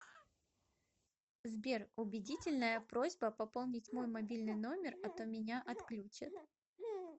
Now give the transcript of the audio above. сбер убедительная просьба пополнить мой мобильный номер а то меня отключат